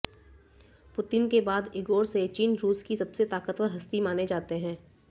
Putin के बाद Igor Sechin रूस की सबसे ताकतवर हस्ती माने जाते हैं